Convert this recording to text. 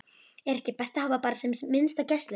Er ekki best að hafa bara sem minnsta gæslu?